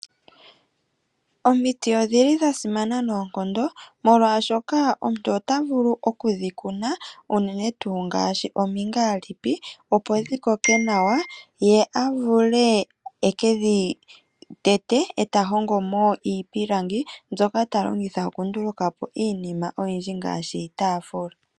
Omiti odhili dha simana noonkondo, molwaashoka omuntu ota vulu okudhi kuna unene tuu ngaashi omingaalipi, opo dhi koke nawa ye avule ekedhi tete, eta hongomo iipilangi, mbyoka ta longitha oku ndulukapo iinima oyindji ngaashi iitaafula.